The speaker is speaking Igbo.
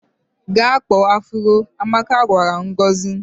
"Gaa kpaa afụro," Amaka gwara Ngozi.